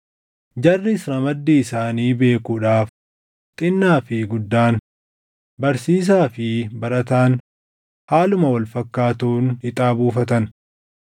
Jarris ramaddii isaanii beekuudhaaf xinnaa fi guddaan, barsiisaa fi barataan haaluma wal fakkaatuun ixaa buufatan.